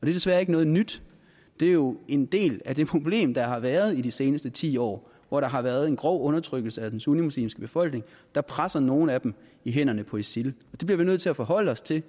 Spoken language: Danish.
desværre ikke noget nyt det er jo en del af det problem der har været i de seneste ti år hvor der har været en grov undertrykkelse af den sunnimuslimske befolkning der presser nogle af dem i hænderne på isil vi bliver nødt til at forholde os til at